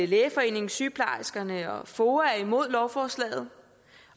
lægeforeningen sygeplejerskerne og foa er imod lovforslaget